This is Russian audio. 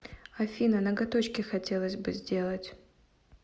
афина ноготочки хотелось бы сделать